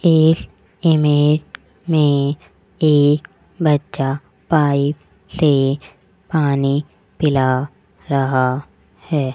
इस इमेज में एक बच्चा पाइप से पानी पिला रहा हैं।